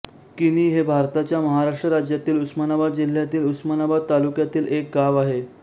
किणी हे भारताच्या महाराष्ट्र राज्यातील उस्मानाबाद जिल्ह्यातील उस्मानाबाद तालुक्यातील एक गाव आहे